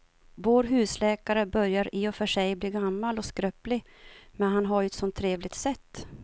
Vår husläkare börjar i och för sig bli gammal och skröplig, men han har ju ett sådant trevligt sätt!